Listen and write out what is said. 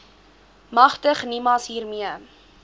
magtig nimas hiermee